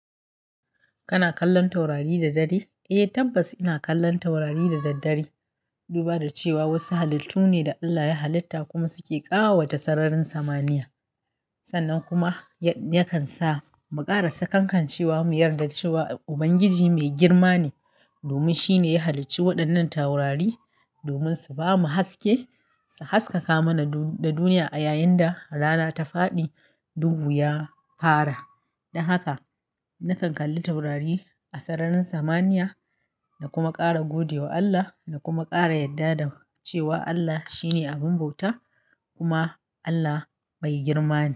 Kana kallon taurari da dare? Eh tabbas ina kallon taurari da daddare. Duba da cewa wasu halittu ne da Allah ya halitta kuma suke ƙawata sararin samaniya. Sannan kuma yakan sa mu ƙara sakankancewa mu yarda da cewa Ubangiji mai girma ne. Domin shine ya halicci waɗannan taurari domin su bamu haske, su haskaka mana da duniya a yayin da rana ta faɗi, dohu ya fara. Don haka na kalli taurari a sararin samaniya da kuma ƙara gode wa Allah da kuma ƙara yadda da cewa Allah shine abun bauta kuma Allah mai girma ne.